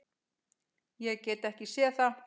Ég get ekki séð það.